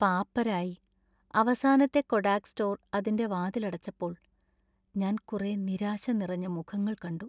പാപ്പരായി, അവസാനത്തെ Kodak store അതിന്‍റെ വാതിലടച്ചപ്പോൾ ഞാൻ കുറെ നിരാശ നിറഞ്ഞ മുഖങ്ങൾ കണ്ടു.